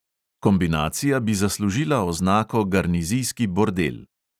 Kombinacija bi zaslužila oznako garnizijski bordel.